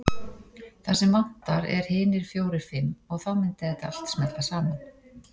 Það sem vantar er hinir fjórir fimm og þá myndi þetta smella allt saman.